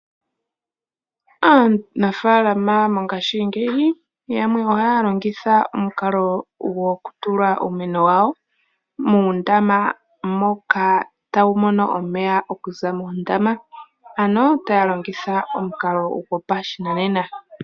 Aanafalama mongashingeyi yamwe oha longitha omukalo gwoku tula uumeno wayo muundama moka tawu mono omeya okuza moondama. Ano taya longitha omukalo gwopashinanena.